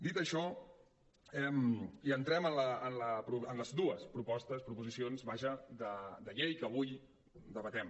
dit això ja entrem en les dues proposicions de llei que avui debatem